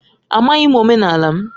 Amaghị m omenala m.